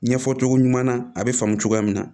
Ɲɛfɔ cogo ɲuman na a bɛ faamu cogoya min na